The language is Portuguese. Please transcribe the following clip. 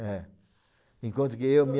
É, enquanto que eu me